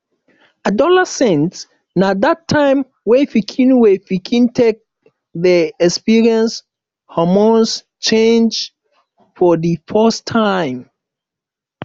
adolescent na dat time wey pikin wey pikin take dey experience hormone change for di first time